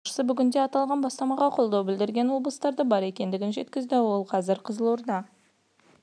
сонымен қатар комитет басшысы бүгінде аталған бастамаға қолдау білдірген облыстардың бар екенін жеткізді ол қазір қызылорда